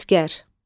Əsgər.